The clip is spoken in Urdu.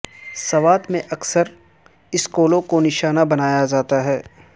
سوات میں اکثر سکولوں کو نشانہ بنایا جاتا ہے